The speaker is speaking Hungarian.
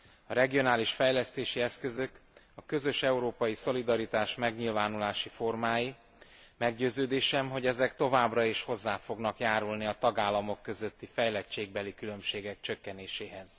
A regionális fejlesztési eszközök a közös európai szolidaritás megnyilvánulási formái, meggyőződésem, hogy ezek továbbra is hozzá fognak járulni a tagállamok közötti fejlettségbeli különbségek csökkenéséhez.